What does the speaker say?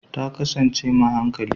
Ta kasance m a hankali